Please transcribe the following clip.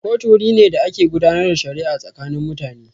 Kotu wuri ne da ake gudanar da shari'a tsakanin mutane.